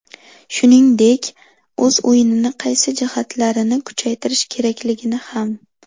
Shuningdek, o‘z o‘yinini qaysi jihatlarini kuchaytirish kerakligini ham.